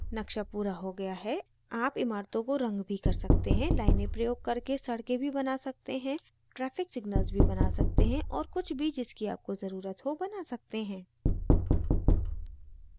नक्शा पूरा हो गया है आप इमारतों को रंग भी कर सकते हैं; लाइनें प्रयोग करके सड़कें भी बना सकते हैं traffic signals भी बना सकते हैं और कुछ भी जिसकी आप को ज़रुरत हो बना सकते हैं